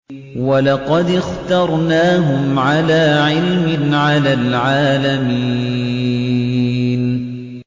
وَلَقَدِ اخْتَرْنَاهُمْ عَلَىٰ عِلْمٍ عَلَى الْعَالَمِينَ